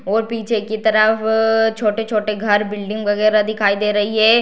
और पीछे की तरफ छोटे-छोटे घर बिल्डिंग वगेरा दिखाई दे रही है।